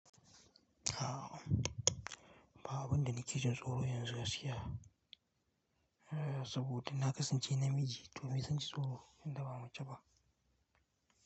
A'a, ba abunda nake jin tsoro yanzu gaskiya, eh saboda na kasance namiji to mai zanji tsoro? Nida ba mace ba.